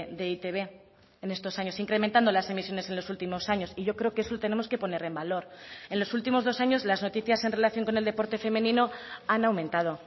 de eitb en estos años incrementando las emisiones en los últimos años y yo creo que eso tenemos que poner en valor en los últimos dos años las noticias en relación con el deporte femenino han aumentado